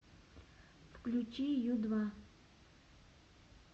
включи ю два